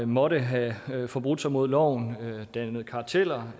måtte have forbrudt sig mod loven og dannet karteller